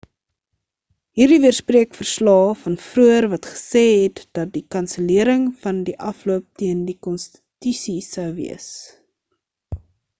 hierdie weerspreek verslae van vroeër wat gesê het dat die kansellering van die afloop teen die konstitusie sou wees